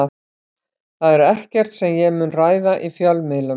Það er ekkert sem ég mun ræða í fjölmiðlum.